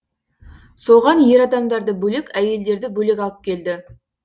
соған ер адамдарды бөлек әйелдерді бөлек алып келді